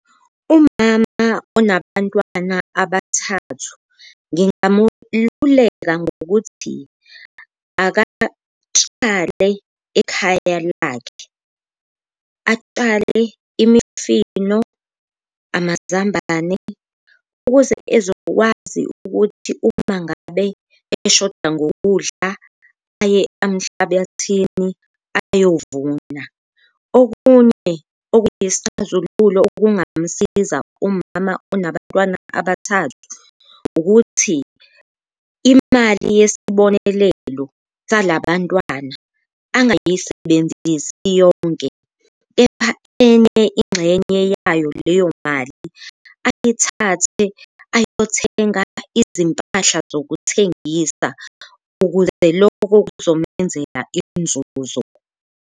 Umama onabantwana abathathu ngingamululeka ngokuthi akatshale ekhaya lakhe, atshale imifino, amazambane ukuze ezokwazi ukuthi uma ngabe eshoda ngokudla aye emhlabathini ayovuna. Okunye okuyisixazululo okungamsiza umama onabantwana abathathu ukuthi imali yesibonelelo sala bantwana angayisebenzisi iyonke, kepha enye ingxenye yayo leyo mali ayithathe ayothenga izimpahla zokuthengisa ukuze loko kuzomenzela inzuzo.